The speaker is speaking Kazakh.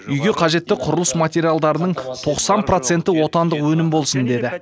үйге қажетті құрылыс материалдарының тоқсан проценті отандық өнім болсын деді